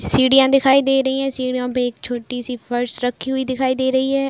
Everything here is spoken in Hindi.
सीढ़ियाँ दिखाई दे रही हैं। सीढ़ियों पे एक छोटी सी फर्श रखी हुयी दिखाई दे रही है।